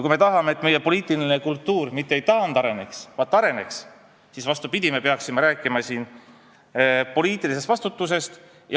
Kui me tahame, et meie poliitiline kultuur mitte ei taandareneks, vaid areneks, siis me peaksime, vastupidi, rääkima siin poliitilisest vastutusest.